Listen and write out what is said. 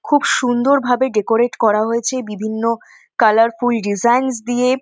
খুব সুন্দর ভাবে ডেকোরেট করা হয়েছে বিভিন্ন কালারফুল ডিজাইনস দিয়ে-এ।